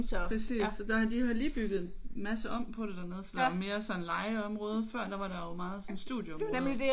Præcis så der har de har lige bygget en masse om på det dernede så der er mere sådan legeområde. Før der var det jo meget sådan studieområde